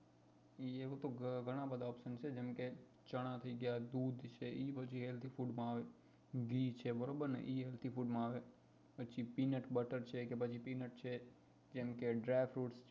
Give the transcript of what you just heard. એવા તો ઘણા બધા option થઇ છે જેમ કે ચના થઇ ગયા દૂધ થઇ ગયું એ પછી ઘી છે બરોબર નેએ બધા healthy food માં આવે પછી peanut butter, peanut and dry fruit